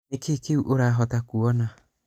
nĩkĩĩ kĩngĩ ũrahota kuona?